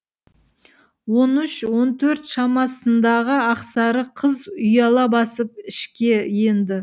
он үш он төрт шамасындағы ақсары қыз ұяла басып ішке енді